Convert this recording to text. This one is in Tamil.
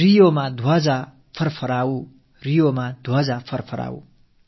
ரியோவிலும் நம்கொடி பறக்கட்டும்